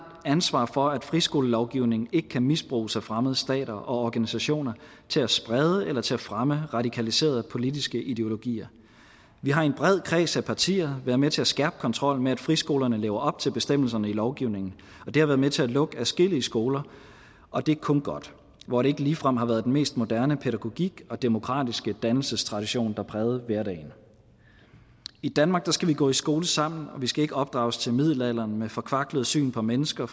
ansvar for at friskolelovgivningen ikke kan misbruges af fremmede stater og organisationer til at sprede eller til at fremme radikaliserede politiske ideologier vi har i en bred kreds af partier været med til at skærpe kontrollen med at friskolerne lever op til bestemmelserne i lovgivningen og det har været med til at lukke adskillige skoler og det er kun godt hvor det ikke ligefrem har været den mest moderne pædagogik og demokratiske dannelsestradition der prægede hverdagen i danmark skal vi gå i skole sammen vi skal ikke opdrages til middelalderen med et forkvaklet syn på mennesker